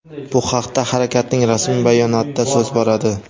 Bu haqda harakatning rasmiy bayonotida so‘z boradi.